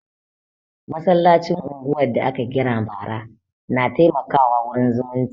Masallacin unguwan da aka gina bara na taimaka wa wurin zumunci